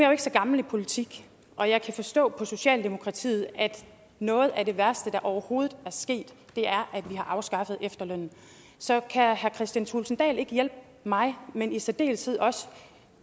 jo ikke så gammel i politik og jeg kan forstå på socialdemokratiet at noget af det værste der overhovedet er sket er at vi har afskaffet efterlønnen så kan herre kristian thulesen dahl ikke hjælpe mig men i særdeleshed også